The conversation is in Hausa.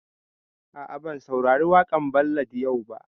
A'a, ban saurari waƙan ballad yau ba